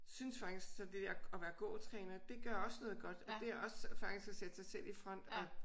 Synes faktisk at det at være gåtræner det gør også noget godt og det er også faktisk at sætte sig selv i front og